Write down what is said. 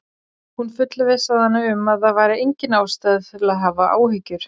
Hún fullvissaði hana um að það væri engin ástæða til að hafa áhyggjur.